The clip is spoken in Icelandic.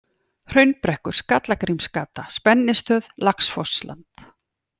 Hraunbrekkur, Skallagrímsgata, Spennistöð, Laxfossland